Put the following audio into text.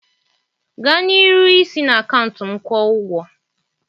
Gaa n'iru isi na akaụntụ m kwuo ụgwọ